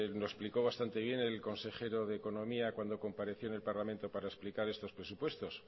lo explicó bastante bien el consejero de economía cuando compareció en el parlamento para explicar estos presupuestos